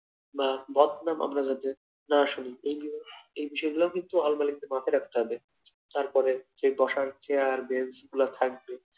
বা এই গুলো এই বিশয়ে গুলা কিন্তু মাথায়ে রাখতে হবে তারপরে সেই বসার চেয়ার বেঞ্চ গুলো থাকবে